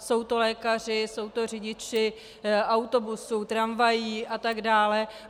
Jsou to lékaři, jsou to řidiči autobusů, tramvají atd.